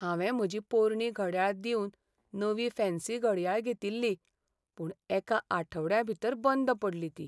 हांवें म्हजी पोरणी घडयाळ दिवन नवीं फॅन्सी घडयाळ घेतिल्ली, पूण एका आठवड्या भितर बंद पडली ती.